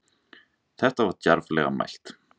Þetta var djarflega mælt.